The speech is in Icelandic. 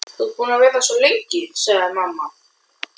Þú ert búin að vera svo lengi, sagði mamma.